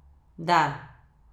Da.